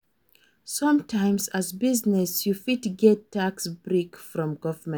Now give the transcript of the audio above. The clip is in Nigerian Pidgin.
Sometimes, as business, you fit get tax break from government